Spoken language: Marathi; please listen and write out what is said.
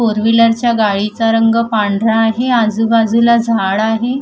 फोर व्हीलरच्या गाडीचा रंग पांढरा आहे आजूबाजूला झाड आहे.